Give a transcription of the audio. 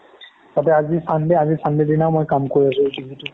তাতে আজি sunday আজি sunday দিনাই কাম কৰি আছো ইটো সিটো